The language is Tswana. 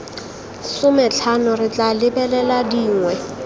sometlhano re tla lebelela dingwe